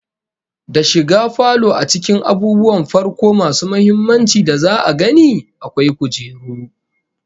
Da shiga falo a cikin abubuwan farko masu muhimmanci da za'a gani, akwai kujeru